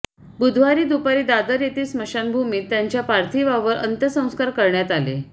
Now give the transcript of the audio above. बुधवारी दुपारी दादर येथील स्मशानभूमीत त्यांच्या पार्थिवावर अंत्यसंस्कार करण्यात आले